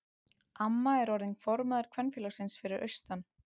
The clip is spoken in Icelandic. Amma er orðin formaður kvenfélagsins fyrir austan.